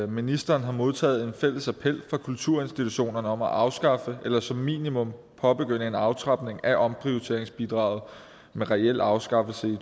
ministeren har modtaget en fælles appel fra kulturinstitutionerne om at afskaffe eller som minimum påbegynde en aftrapning af omprioriteringsbidraget med reel afskaffelse i